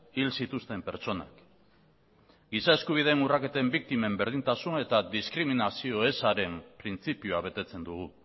hil zituzten pertsonak giza eskubideen urraketen biktimen berdintasun eta diskriminazio ezaren printzipioa betetzen dugu